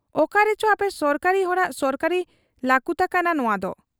ᱚᱠᱟᱨᱮᱪᱚ ᱟᱯᱮ ᱥᱚᱨᱠᱟᱨᱤ ᱦᱚᱲᱟᱜ ᱥᱚᱨᱠᱟᱨᱤ ᱞᱟᱠᱩᱱᱟ ᱠᱟᱱᱟ ᱱᱚᱶᱟᱫᱚ ᱾